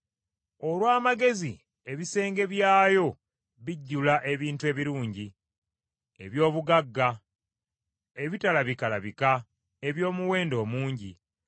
Olw’amagezi ebisenge by’ayo bijjula ebintu ebirungi, eby’obugagga ebitalabikalabika eby’omuwendo omungi.